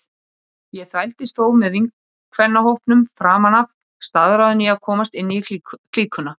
Ég þvældist þó með vinkvennahópnum framan af, staðráðin í að komast inn í klíkuna.